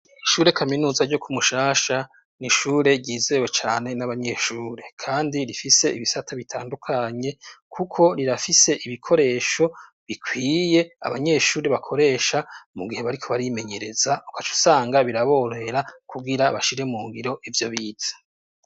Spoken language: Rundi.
Ishure kaminuza ryo kumushasha nishure ryizewe cane n'abanyeshure, kandi rifise ibisata bitandukanye, kuko rirafise ibikoresho bikwiye abanyeshuri bakoresha mu gihe bariko barimenyereza uko aca usanga biraborera kuwira bashire mu ngiro ivyo biza.